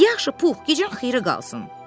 Yaxşı Pux, gecən xeyirə qalsın.